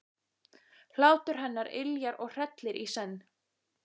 Hlátur hennar yljar og hrellir í senn.